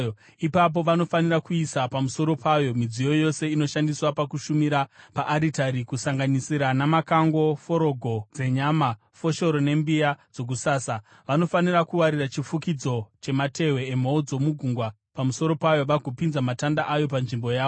Ipapo vanofanira kuisa pamusoro payo midziyo yose inoshandiswa pakushumira paaritari kusanganisira namakango, forogo dzenyama, foshoro nembiya dzokusasa. Vanofanira kuwarira chifukidzo chamatehwe emhou dzegungwa pamusoro payo, vagopinza matanda ayo panzvimbo yawo.